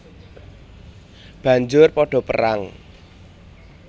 Banjur padha perang